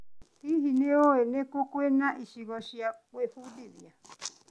Hihi, nĩ ũĩ nĩ kũ kwĩna icigo cia gwĩbundithia?